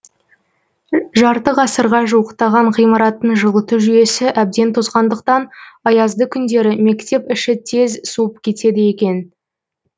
жарты ғасырға жуықтаған ғимараттың жылыту жүйесі әбден тозғандықтан аязды күндері мектеп іші тез суып кетеді екен